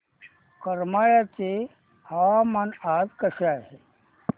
करमाळ्याचे हवामान आज कसे आहे